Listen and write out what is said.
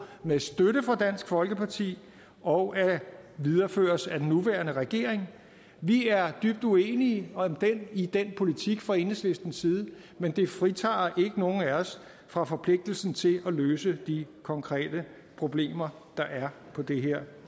med støtte fra dansk folkeparti og videreføres af den nuværende regering vi er dybt uenige i den politik fra enhedslistens side men det fritager ikke nogen af os for forpligtelsen til at løse de konkrete problemer der er på det her